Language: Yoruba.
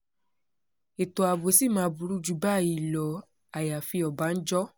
ètò ààbò ṣì máa burú jù báyìí lọ àyàfi ọ̀bánjọ́